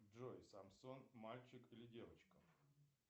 джой самсон мальчик или девочка